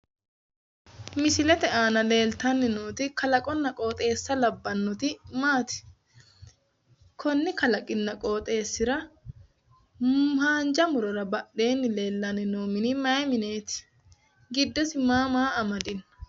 Misilete aana leeltanni nooti kalaqunna qooxxeesa labbannoti maati? Konni kalaqinna qooxxeesira haanja murora badheenni leellanni no mini mayee mineeti?